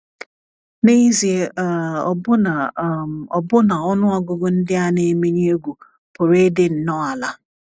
N’ezie, um ọbụna, um ọbụna ọnụ ọgụgụ ndị a na - emenye egwu pụrụ ịdị nnọọ ala.